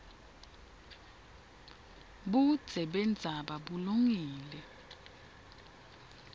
budze bendzaba bulungile